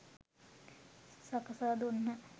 සකසා දුන්හ.